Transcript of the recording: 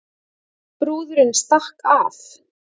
Brúðurin stakk af